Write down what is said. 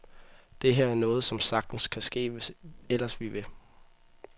Det her er noget, som sagtens kan ske, hvis ellers vi vil.